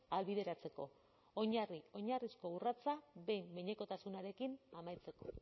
ahalbideratzeko oinarri oinarrizko urratsa behin behinekotasunarekin amaitzeko